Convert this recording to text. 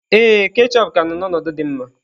Ee, ketchup ka nọ n'ọnọdụ dị mma